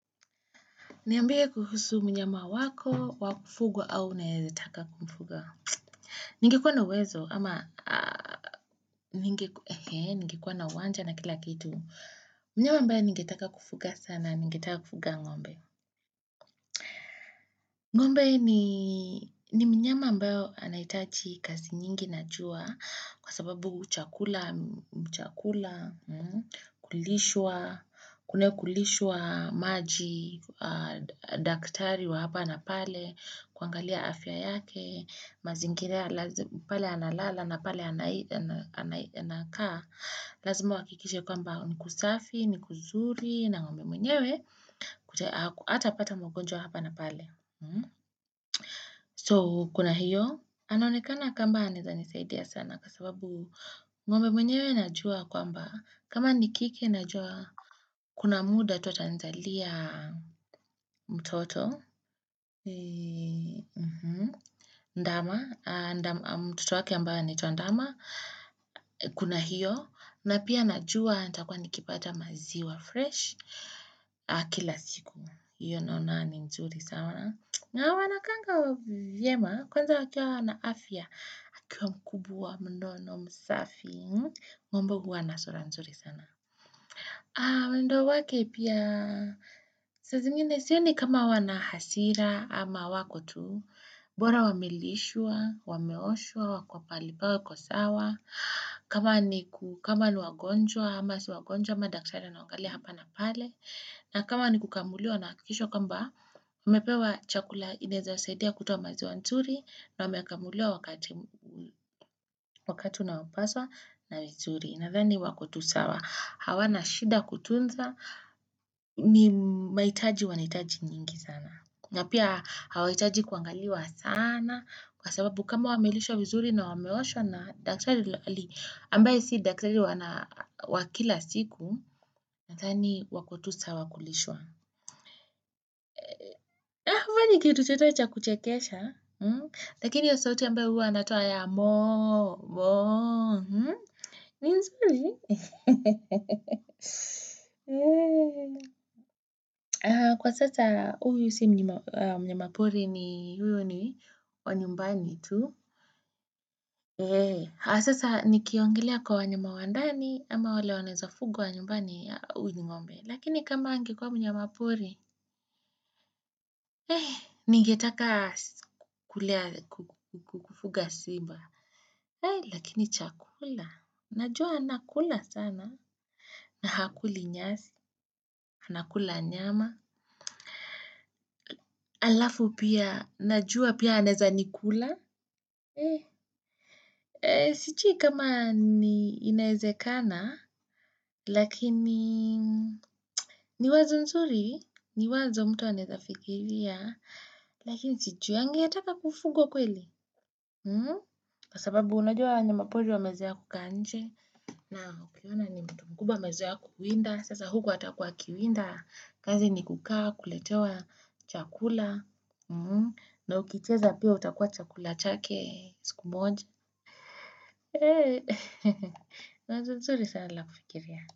Niambie kuhusu mnyama wako, wakufugwa au unayezataka kumfuga. Ningekuwa na uwezo ama ningekuwa na uwanja na kila kitu. Mnyama ambaye ningetaka kufuga sana, ningetaka kufuga ngombe. Ngombe ni mnyama ambayo anahitaji kazi nyingi na jua kwa sababu chakula, chakula, kulishwa, kuna kulishwa maji, daktari wa hapa na pale, kuangalia afya yake mazingira pale analala na pale anakaa lazima uhakikishe kwamba ni kusafi, ni kuzuri na ngombe mwenyewe atapata magonjwa hapa na pale so kuna hiyo anaonekana kama anaweza nisaidia sana kwa sababu ngombe mwenyewe najua kwamba kama ni kike najua kuna muda tu atanizalia mtoto ndama mtoto wake ambaye anaitwa ndama kuna hiyo na pia najua nitakuwa nikipata maziwa fresh kila siku hiyo naona ni nzuri sama na wanakaanga wa vyema kwanza wakiwa wana afya akiwa mkubwa mnono msafi ng'ombe huwa na sura nzuri sana mwendo wake pia saa zingine sioni kama wana hasira ama wako tu bora wamelishwa wameoshwa, wako pahali pao wako sawa kama niku kama ni wagonjwa ama si wagonjwa ama daktari anawangalia hapa na pale na kama ni kukamuliwa nahakikishwa kwamba umepewa chakula inawezasaidia kutoa maziwa nzuri na wamekamuliwa wakati unaopaswa na vizuri nadhani wako tu sawa hawana shida kutunza ni mahitaji wanahitaji nyingi sana na pia hawahitaji kuangaliwa sana na kwa sababu kama wamelishwa vizuri na wameoshwa na daktari ambaye si daktari wana wakila siku nadhani wako tu sawa kulishwa kama ni kitu chenyewe cha kuchekesha lakini hiyo sauti ambayo huwa anatoa ya moo moo ni nzuri kwa sasa huyu si mnyama poli ni huyu ni wa nyumbani tu sasa nikiongelea kwa wanyama wa ndani ama wale wanaweza fugwa nyumbani ya uyu ni ng'ombe. Lakini kama angekuwa mnyamapori ningetaka kulea kufuga simba. Eh, lakini chakula. Najua anakula sana. Na hakuli nyasi. Anakula nyama. Alafu pia, najua pia anaweza nikula. Eh, sijui kama ni inawezekana, lakini, ni wazo nzuri. Ni wazo mtu anaweza fikiria. Lakini sijuangi, anataka kufugwa kweli. Kwa sababu, unajua wanyama pori wamezoea kukaa nje. Na, ukiona ni mtu mkubwa amezoea kukuwinda. Sasa huko hatakuwa akiwinda. Kazi ni kukaa, kuletewa chakula. Na ukicheza pia utakuwa chakula chake, siku moja. Wazo zuri sana la kufikiria.